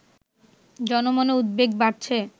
জনমনে উদ্বেগ বাড়ছে